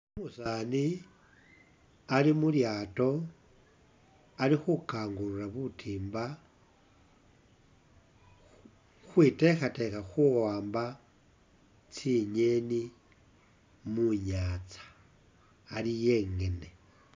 Umusaani ali mulyaato Ali khukangulula butimba khukhwitekhatekha khuwamba tsi'ngeni munyaza ali e'ngene